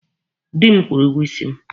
Dị m kwụrụ ụgwọ isi m.